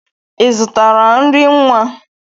I zụtara nri nwa?